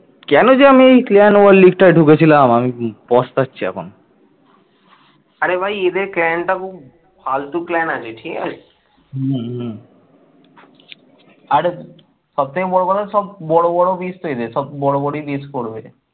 আরে সব থেকে বড় কথা সব বড় বড় মিস এদের সব বড় বড় মিস করবে